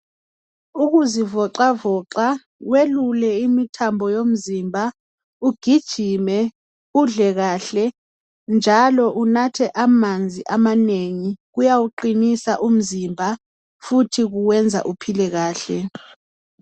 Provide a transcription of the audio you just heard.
Ukuzivoxavoxa welule imithambo yomzimba ugijime, udle kahle njalo unathe amanzi amanengi kuyawuqinisa umzimba futhi kuwenza uphile kahle.